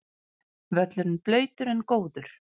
Völlurinn blautur en góður